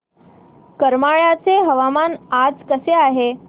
करमाळ्याचे हवामान आज कसे आहे